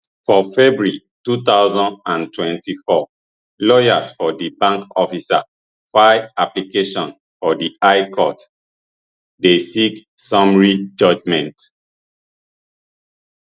for february two thousand and twenty-four lawyers for di bank officer file application for di high court dey seek summary judgement